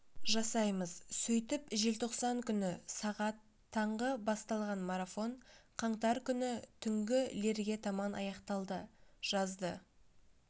жасаймыз сөйтіп желтоқсан күні сағат таңғы басталған марафон қаңтар күні түнгі лерге таман аяқталды жазды